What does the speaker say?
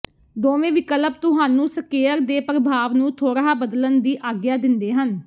ਦੋਵੇਂ ਵਿਕਲਪ ਤੁਹਾਨੂੰ ਸਕੇਅਰ ਦੇ ਪ੍ਰਭਾਵ ਨੂੰ ਥੋੜ੍ਹਾ ਬਦਲਣ ਦੀ ਆਗਿਆ ਦਿੰਦੇ ਹਨ